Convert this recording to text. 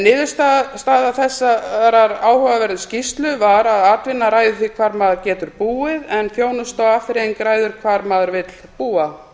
niðurstaða þessarar áhugaverðu skýrslu var að atvinna ræður því hvar maður getur búið en þjónusta og afþreying ræður hvar maður vill búa